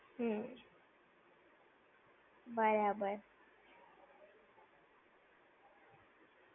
હમ્મ. બરાબર.